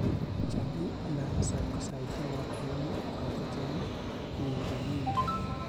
Jamii inaweza kusaidia wakulima kwa kujenga miundombinu.